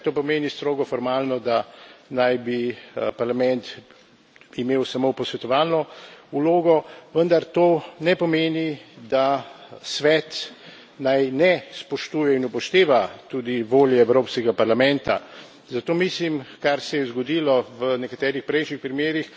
Seveda to pomeni strogo formalno, da naj bi Parlament imel samo posvetovalno vlogo, vendar to ne pomeni, da Svet naj ne spoštuje in upošteva tudi volje Evropskega parlamenta. Zato mislim, kar se je zgodilo v nekaterih prejšnjih primerih,